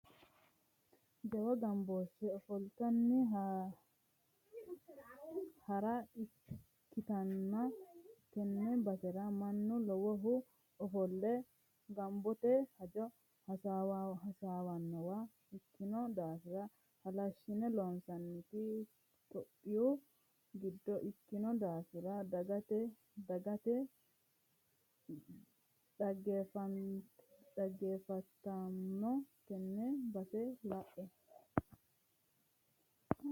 Jawa gamboshe ofollinanni hara ikkanna tene basera mannu lowohu ofolle gobbate hajo hasaawanowa ikkino daafira halashine loonsonnite tophiyu giddo ikkino daafira dhaggefattommo tene base lae